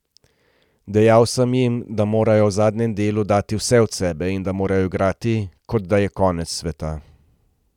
Dejal sem jim, da morajo v zadnjem delu dati vse od sebe in da morajo igrati, kot da je konec sveta.